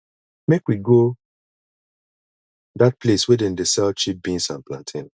make we go dat place wey dem dey sell cheap beans and plantain